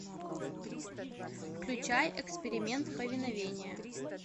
включай эксперимент повиновение